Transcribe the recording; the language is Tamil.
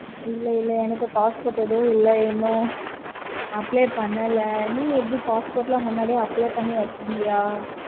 இல்ல இல்ல எனக்கு passport இன்னும் இல்ல. இன்னும் apply பண்ணல. நீங்க ஏதும் passport எல்லாம் முன்னாடியே apply பண்ணி வச்சிருந்தியா?